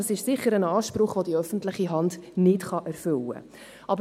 Das ist sicher ein Anspruch, den die öffentliche Hand nicht erfüllen kann.